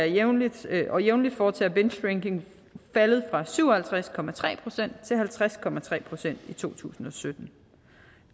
jævnligt og jævnligt foretager bingedrinking faldet fra syv og halvtreds procent til halvtreds procent i to tusind og sytten